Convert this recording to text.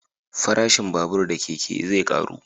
Farashin babur da keke zai karu